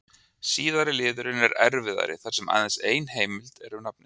Síðari liðurinn er erfiðari þar sem aðeins ein heimild er um nafnið.